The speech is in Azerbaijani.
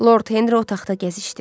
Lord Henri otaqda gəzişdi.